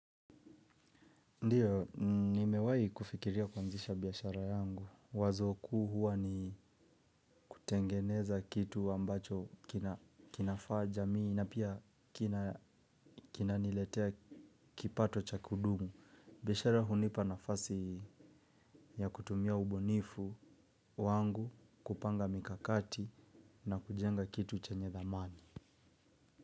Ndiyo, nimewahi kufikiria kuanzisha biashara yangu. Wazo kuu huwa ni kutengeneza kitu ambacho kinafaa jamii na pia kina niletea kipato cha kudumu. Biashara hunipa nafasi ya kutumia ubunifu wangu kupanga mikakati na kujenga kitu chenye dhamani.